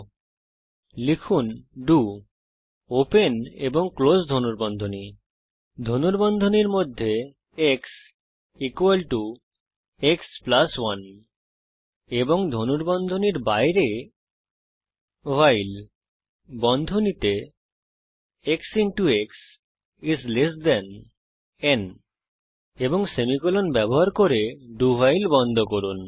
তারপর লিখুন do open এবং ক্লোস ধনুর্বন্ধনী ধনুর্বন্ধনীর মধ্যে x x 1 এবং ধনুর্বন্ধনীর বাইরে ভাইল বন্ধনীতে এক্স এক্স ন এবং সেমিকোলন ব্যবহার করে do ভাইল বন্ধ করুন